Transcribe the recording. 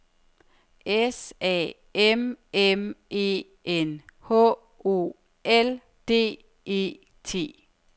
S A M M E N H O L D E T